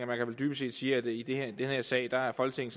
man vel dybest set sige at i den her sag er folketinget